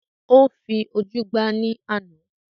Ó fi ojú gbá ní àna